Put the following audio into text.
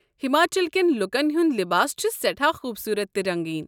ہماچل کٮ۪ن لوکن ہُنٛد لباس چھُ سٮ۪ٹھاہ خوُبصوُرت تہٕ رٔنٛگیٖن ۔